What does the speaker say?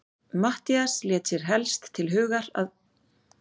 Matthías lét sér helst til hugar koma, að hann væri haldinn sárri heimþrá.